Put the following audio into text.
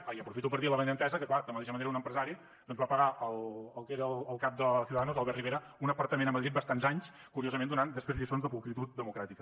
ah i aprofito per dir l’avinentesa que clar de la mateixa manera un empresari doncs va pagar al que era el cap de ciudadanos l’albert rivera un apartament a madrid bastants anys curiosament donant després lliçons de pulcritud democràtica